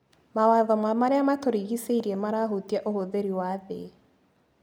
Mawatho ma marĩa matũrigicĩirie marahutia ũhũthĩri wa thĩ.